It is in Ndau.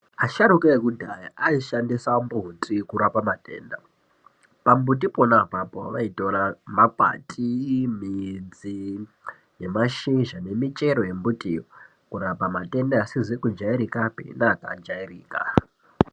Asharuka ekudhaya aishandisa mbuti kurapa matenda. Pambuti pona apapo vaitora makwati, midzi nemashizha nemichero yembutiyo kurapa matenda asizi kujairikapi neakajairika.